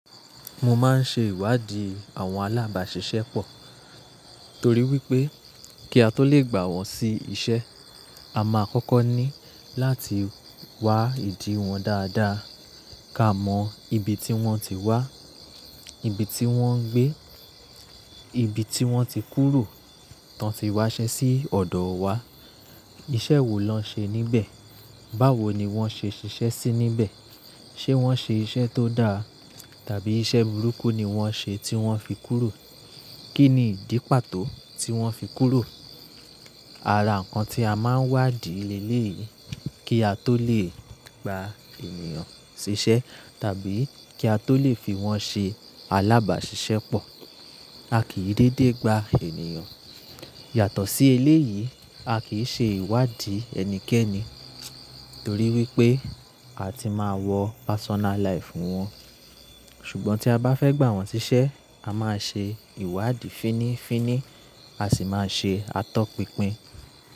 Mo máa ń ṣe ìwádìí àwọn alábàṣiṣẹ́ pọ̀, torí wípé kí a tó lè gbà wón sí Ìṣe, a máa kọ́kọ́ ní láti wa ìdí wọn dáadáa. Ká mọn ibi tí wón ti wá, ibi tí wón ń gbé, ibi tí wón ti kúrò, tán tí wá ṣe sí ọ̀dọ̀ wa. Iṣẹ́ wo lọ ń ṣe níbẹ̀? Báwo ni wón ṣe ṣiṣẹ́ sí níbẹ̀? Ṣé wón ṣe iṣẹ́ tó dáa tàbí iṣẹ́ burúkú ni wón ṣe tí wón fi kúrò? Kí ni ìdí pàtó tí wón fi kúrò? Ara ǹkan tí a máa ń wádìí léle yìí kí a tó lè gba ènìyàn ṣ'iṣẹ́ tàbí kí a tó lè fi wọ́n ṣe alábàṣiṣẹ́ pọ̀. A kì í dédé gba ènìyàn. Yàtọ̀ sí eléyìí, a kì í ṣe ìwádìí ẹnikẹ́ni torí wípé a ti máa wọ personal life fún wọn. Ṣùgbọ́n tí a bá fẹ́ gbà wọ́n ṣiṣẹ́, a máa ṣe ìwádìí fínnífínní, a sì máa ṣe atọ́pinpin.